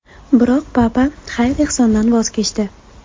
Biroq Papa xayr-ehsondan voz kechdi.